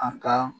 A ka